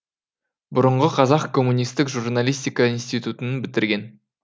бұрынғы қазақ коммунистік журналистика институтын бітірген